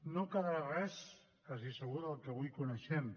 no quedarà res quasi segur del que avui coneixem